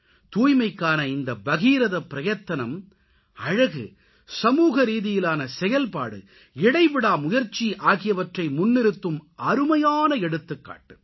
தூய்மைக்கான இந்த பகீரதப்பிரயத்தனம் அழகு சமூகரீதியிலான செயல்பாடு இடைவிடா முயற்சி ஆகியவற்றை முன்னிறுத்தும் அருமையான எடுத்துக்காட்டு